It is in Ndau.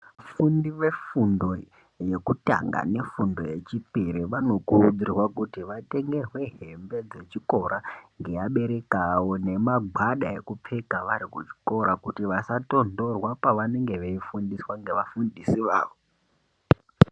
Vafundi vefundo yekutanga nefundo yechipiri vanokurudzirwa kuti vatengerwe hembe dzechikora nevabereki vavo nemangwada echikora kuitira kuti vasatondorwa pavanenge veifundiswa neva fundisi vavo.